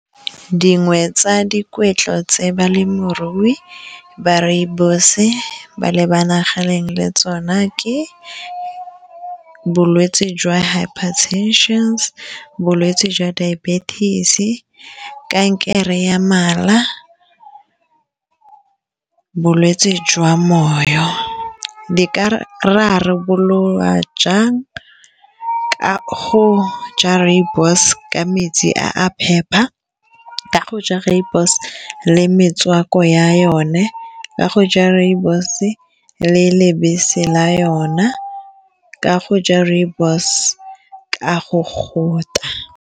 Dingwe tsa dikgwetlho tse balemirui ba rooibos-e ba lebaganeng le tsona ke bolwetse jwa hiper tension, bolwetse jwa diabetic, kankere ya mala, bolwetse jwa moyo, di ka rarabololwa jang ka go ja rooibos ka metsi a phepa, ka go ja rooibos le metswako ya yone, ka go ja rooibos e le lebase la yona ka go ja rooibos ka go gotla.